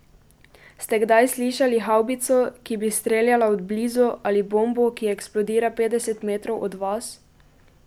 Ste kdaj slišali havbico, ki bi streljala od blizu, ali bombo, ki eksplodira petdeset metrov od vas?